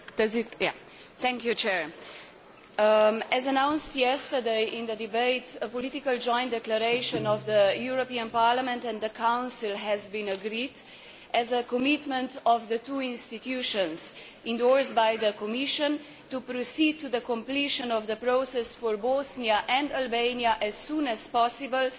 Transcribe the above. Mr President, as announced yesterday in the debate, a political joint declaration of the European Parliament and the Council has been agreed as a commitment of the two institutions endorsed by the Commission to proceed to the completion of the process for Bosnia and Albania as soon as possible.